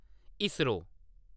I S R O